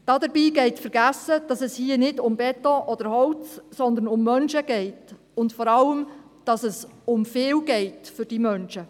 Dabei geht vergessen, dass es hier nicht um Beton oder Holz geht, sondern um Menschen, und vor allem, dass es für diese Menschen um viel geht.